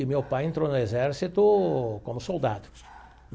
E meu pai entrou no exército como soldado.